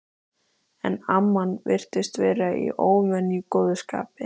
En amman virtist vera í óvenju góðu skapi.